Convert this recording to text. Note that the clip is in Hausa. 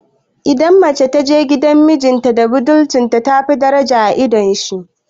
Idan mace ta je gidan mijinta da budurcinta, tafi daraja a idon shi.